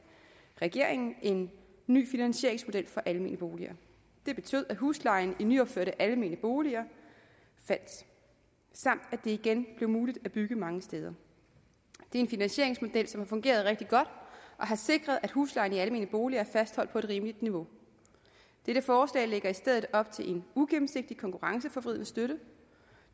regeringen en ny finansieringsmodel for almene boliger det betød at huslejen i nyopførte almene boliger faldt samt at det igen blev muligt at bygge mange steder det er en finansieringsmodel som har fungeret rigtig godt og sikret at huslejen i almene boliger er fastholdt på et rimeligt niveau dette forslag lægger i stedet op til en ugennemsigtig konkurrenceforvridende støtte